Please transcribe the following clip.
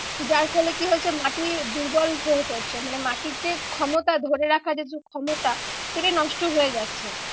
যার ফলে কি হচ্ছে মাটি দুর্বল হয়ে পড়ছে। মানে মাটির যে ক্ষমতা ধরে রাখার যে ক্ষমতা সেটাই নষ্ট হয়ে যাচ্ছে।